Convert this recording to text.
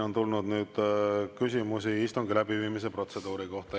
On tulnud küsimusi istungi läbiviimise protseduuri kohta.